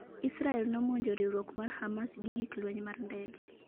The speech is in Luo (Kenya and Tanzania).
israel nomonjo riwruok mar Hamas gi gik lweny mar ndege